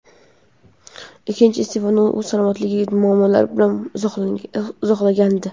Ikkinchi iste’fosini u salomatligidagi muammolar bilan izohlagandi.